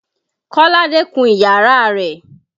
Kọ́ládé kun iyàrá rẹ̀.